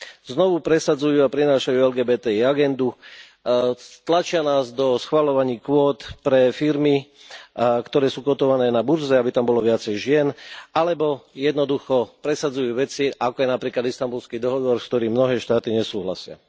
Znovu presadzujú a prinášajú LGBTI agendu, tlačia nás do schvaľovaní kvót pre firmy, ktoré sú kótované na burze, aby tam bolo viacej žien, alebo jednoducho presadzujú veci, ako je napríklad Istanbulský dohovor, s ktorým mnohé štáty nesúhlasia.